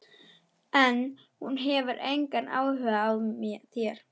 En hún hefur engan áhuga á þér.